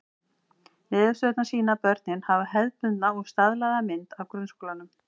Niðurstöðurnar sýna að börnin hafa hefðbundna og staðlaða mynd af grunnskólanum.